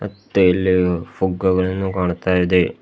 ಮತ್ತೆ ಇಲ್ಲಿ ಪುಗ್ಗಗಳನ್ನು ಕಾಣ್ತಾ ಇದೆ.